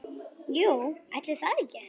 Jú, ætli það ekki!